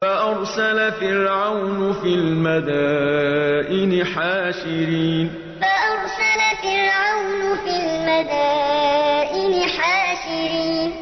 فَأَرْسَلَ فِرْعَوْنُ فِي الْمَدَائِنِ حَاشِرِينَ فَأَرْسَلَ فِرْعَوْنُ فِي الْمَدَائِنِ حَاشِرِينَ